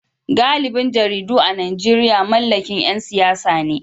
Galibin jaridu a Najeriya mallakin ‘yan siyasa ne